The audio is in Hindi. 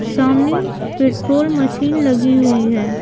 सामने पेट्रोल मशीन लगी हुई है।